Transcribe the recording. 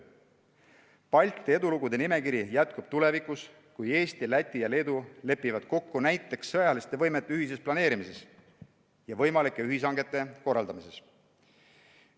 Balti edulugude nimekiri jätkub tulevikus, kui Eesti, Läti ja Leedu lepivad kokku näiteks sõjaliste võimete ühises planeerimises ja võimalike ühishangete korraldamises.